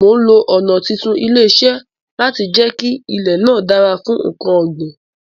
Mo lo ọ̀nà títún ilẹ̀ ṣe láti jẹ kí ilè náà dára fún nkan ọ̀ gbìn